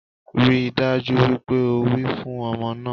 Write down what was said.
Rí i dájú wípé o wẹ̀ fún ọmọ náà